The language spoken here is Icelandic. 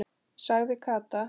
sagði Kata.